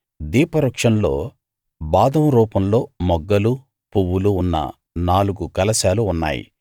దీపవృక్షంలో బాదం రూపంలో మొగ్గలు పువ్వులు ఉన్న నాలుగు కలశాలు ఉన్నాయి